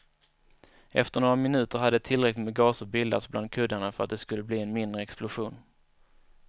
Efter några minuter hade tillräckligt med gaser bildats bland kuddarna för att det skulle bli en mindre explosion.